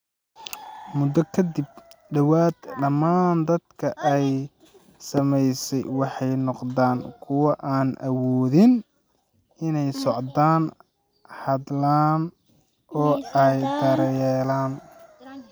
Muddo ka dib, ku dhawaad ​​dhammaan dadka ay saamaysay waxay noqdaan kuwo aan awoodin inay socdaan, hadlaan, oo ay is daryeelaan.